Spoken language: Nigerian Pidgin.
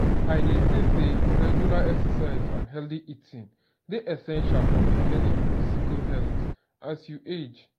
i dey think say regular exercise and healthy eating dey essential for maintaining physical health as you age.